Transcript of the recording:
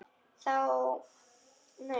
Hvað þá., nei.